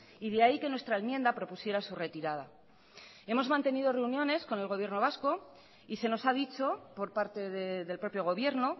y de ahí que nuestra enmienda propusiera su retirada hemos mantenido reuniones con el gobierno vasco y se nos ha dicho por parte del propio gobierno